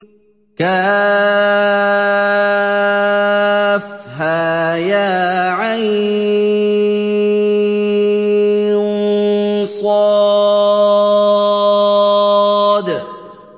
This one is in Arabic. كهيعص